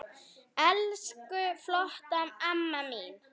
Elsku flotta amma mín.